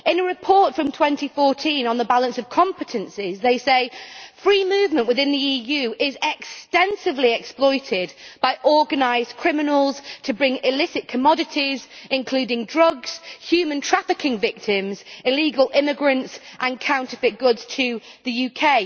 In a report from 2014 on the balance of competences, they say free movement within the EU is extensively exploited by organised criminals to bring illicit commodities including drugs, human trafficking victims, illegal immigrants and counterfeit goods to the UK.'